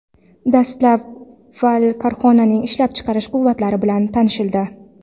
Dastavval korxonaning ishlab chiqarish quvvatlari bilan tanishildi.